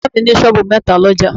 Bàbá mi ní sọ́ọ̀bù metaa l'ọ́jà